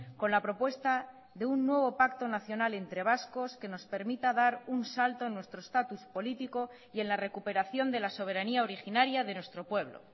con la propuesta de un nuevo pacto nacional entre vascos que nos permita dar un salto en nuestro estatus político y en la recuperación de la soberanía originaria de nuestro pueblo